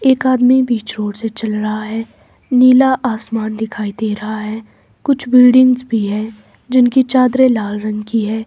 एक आदमी बीच रोड से चल रहा है नीला आसमान दिखाई दे रहा है कुछ बिल्डिंग्स भी है जिनकी चादरें लाल रंग की हैं।